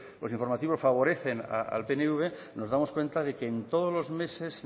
los informativos favorecen al pnv nos damos cuenta de que en todos los meses